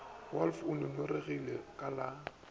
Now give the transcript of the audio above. wolff o ngongoregile ka la